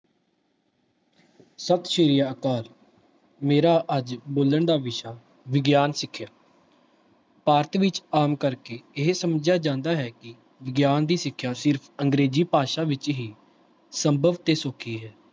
ਸਤਿ ਸ੍ਰੀ ਅਕਾਲ ਮੇਰਾ ਅੱਜ ਬੋਲਣ ਦਾ ਵਿਸ਼ਾ ਵਿਗਿਆਨ ਸਿੱਖਿਆ ਭਾਰਤ ਵਿੱਚ ਆਮ ਕਰਕੇ ਇਹ ਸਮਝਿਆ ਜਾਂਦਾ ਹੈ ਕਿ ਵਿਗਿਆਨ ਦੀ ਸਿੱਖਿਆ ਸਿਰਫ਼ ਅੰਗਰੇਜ਼ੀ ਭਾਸ਼ਾ ਵਿੱਚ ਹੀ ਸੰਭਵ ਤੇ ਸੌਖੀ ਹੈ।